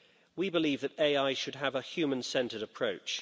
We believe that AI should have a human centred approach.